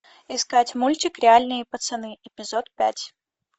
искать мультик реальные пацаны эпизод пять